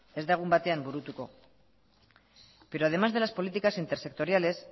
ez da egun batean burutuko pero además de las políticas intersectoriales